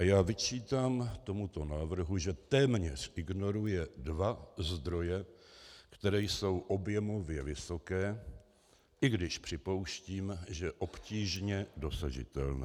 A já vyčítám tomuto návrhu, že téměř ignoruje dva zdroje, které jsou objemově vysoké, i když připouštím, že obtížně dosažitelné.